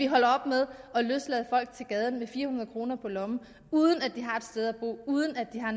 holde op med at løslade folk til gaden med fire hundrede kroner på lommen uden at de har et sted at bo uden at de har